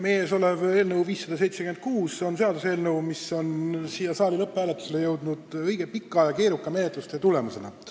Meie ees olev eelnõu 576 on seaduseelnõu, mis on siia saali lõpphääletusele jõudnud õige pika ja keeruka menetlustöö tulemusena.